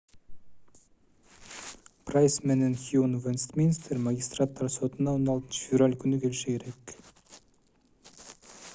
прайс менен хьюн вестминстер магистраттар сотуна 16-февраль күнү келиши керек